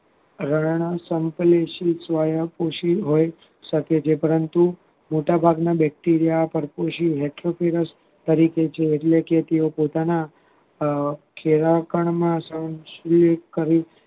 વધારા નો સંલેષીત સ્વયં પોષી હોય શકે છે પરંતુ મોટા ભાગના Bacteria પરપોષી વ્યાખ્યા તરફ તરીકે છે એટલે કે તેઓ પોતાના અમ કેવાવ પણ ના સંલેષીત કરી